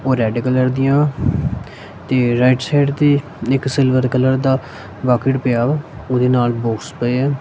ਉਹ red colour ਦੀਆਂ ਤੇ ਰਾਈਟ ਸਾਈਡ ਤੇ ਇੱਕ ਸਿਲਵਰ ਕਲਰ ਦਾ ਵਾਕਈਟ ਪਿਆ ਵਾ ਉਹਦੇ ਨਾਲ ਬੋਕਸ ਪਏ ਆ।